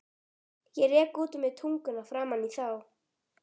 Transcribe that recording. Ég rek út úr mér tunguna framan í þá.